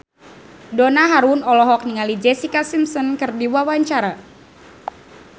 Donna Harun olohok ningali Jessica Simpson keur diwawancara